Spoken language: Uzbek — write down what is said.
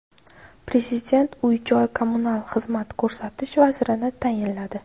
Prezident uy-joy kommunal xizmat ko‘rsatish vazirini tayinladi.